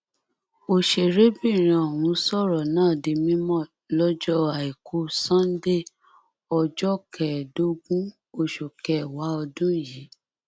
ọsẹrẹbìrin ọhún sọrọ náà di mímọ lọjọ àìkú sànńdẹẹ ọjọ kẹẹẹdógún oṣù kẹwàá ọdún yìí